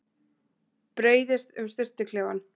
Breiðist um sturtuklefann.